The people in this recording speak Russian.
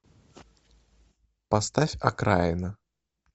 поставь окраина